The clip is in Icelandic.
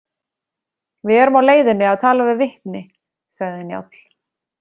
Við erum á leiðinni að tala við vitni, sagði Njáll.